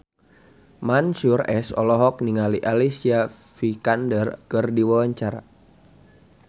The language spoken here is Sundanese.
Mansyur S olohok ningali Alicia Vikander keur diwawancara